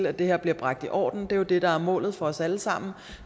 at det her bliver bragt i orden det er jo det der er målet for os alle sammen